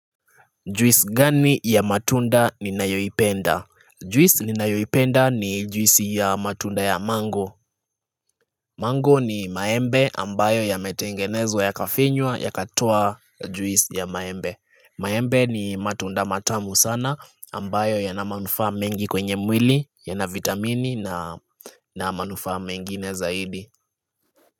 Juisi gani ya matunda ninayoipenda? Juisi ni nayoipenda ni juisi ya matunda ya mango Mango ni maembe ambayo ya metengenezwa ya kafinywa ya katoa juisi ya maembe. Maembe ni matunda matamu sana ambayo yana manufaa mengi kwenye mwili ya na vitamini na na manufaa mengine zaidi.